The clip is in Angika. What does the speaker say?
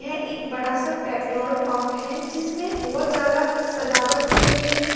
यह एक बड़ा-सा पेट्रोल पम्प है जिसमे बहुत ज्यादा सजावट की गयी है।